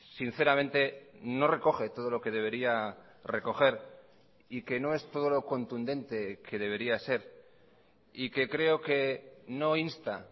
sinceramente no recoge todo lo que debería recoger y que no es todo lo contundente que debería ser y que creo que no insta